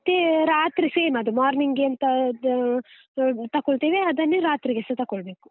ಮತ್ತೇ ರಾತ್ರಿ same ಅದು, morning ಎಂತ ದ ತಕೊಳ್ತೇವೆ ಅದನ್ನೇ ರಾತ್ರಿಗೆಸಾ ತಗೊಳ್ಬೇಕು.